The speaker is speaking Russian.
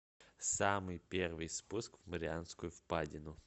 самый первый спуск в марианскую впадину